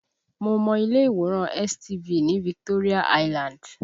Mo mọ ilé ìwòran STV ní Victoria Island